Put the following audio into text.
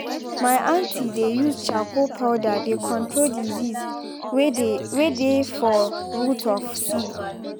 my aunty dey use charcoal powder dey control disease way dey for root of seed